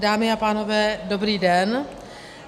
Dámy a pánové, dobrý den.